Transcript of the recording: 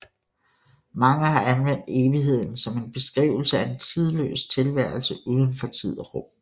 Mange har anvendt evigheden som en beskrivelse af en tidløs tilværelse uden for tid og rum